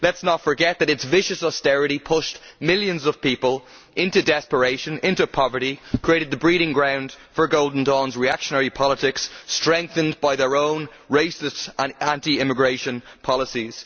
Let us not forget that its vicious austerity pushed millions of people into desperation, into poverty, and created the breeding ground for Golden Dawn's reactionary politics, strengthened by their own racist and anti immigration policies.